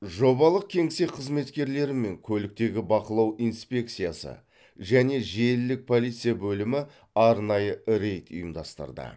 жобалық кеңсе қызметкерлері мен көліктегі бақылау инспекциясы және желілік полиция бөлімі арнайы рейд ұйымдастырды